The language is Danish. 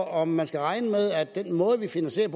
om man skal regne med at det er den måde vi finansierer